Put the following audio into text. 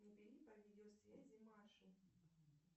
набери по видеосвязи машу